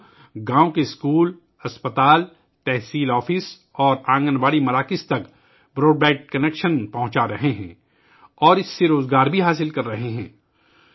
یہ لوگ گاؤں کے اسکولوں، اسپتالوں، تحصیل دفاتر اور آنگن واڑی مراکز کو براڈ بینڈ کنکشن فراہم کر رہے ہیں اور اس سے روزگار بھی حاصل کر رہے ہیں